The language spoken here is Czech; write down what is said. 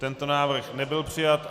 Tento návrh nebyl přijat.